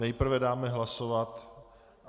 Nejprve dám hlasovat...